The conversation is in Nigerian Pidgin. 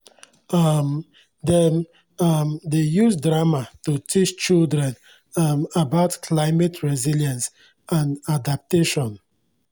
um dem um dey use drama to teach children um about climate resilience and adaptation